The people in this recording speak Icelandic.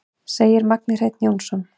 Segir Magni Hreinn Jónsson.